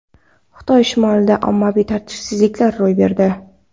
Xitoy shimolida ommaviy tartibsizliklar ro‘y berdi.